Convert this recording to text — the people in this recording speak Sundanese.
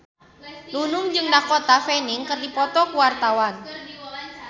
Nunung jeung Dakota Fanning keur dipoto ku wartawan